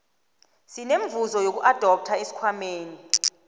semivuzo yokuadoptha esikhwameni